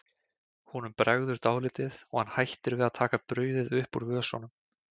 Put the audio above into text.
Honum bregður dálítið og hann hættir við að taka brauðið upp úr vösunum.